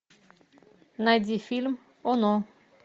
найди фильм оно